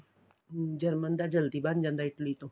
German ਦਾ ਜਲਦੀ ਬਣ ਜਾਂਦਾ Italy ਤੋਂ